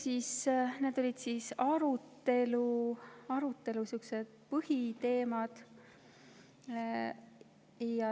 Need olid arutelu põhiteemad.